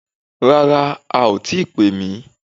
Rárá, a ò tíi pè mí